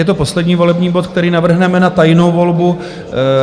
Je to poslední volební bod, který navrhneme na tajnou volbu.